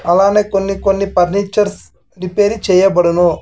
అలానే కొన్ని కొన్ని పర్నిచర్స్ రిపేరీ చేయ బడును.